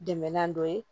Dɛmɛnan dɔ ye